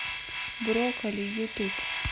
брокколи ютуб